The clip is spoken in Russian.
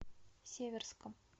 северском